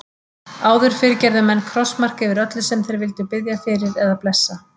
Áður fyrr gerðu menn krossmark yfir öllu sem þeir vildu biðja fyrir eða blessa.